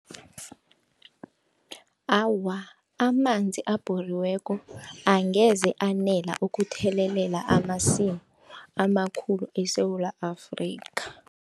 Awa, amanzi abhoriweko angeze anele ukuthelelela amasimu amakhulu eSewula Afrika.